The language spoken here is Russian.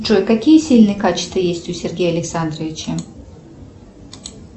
джой какие сильные качества есть у сергея александровича